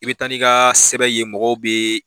I bɛ taa n'i ka sɛbɛn ye mɔgɔw bɛ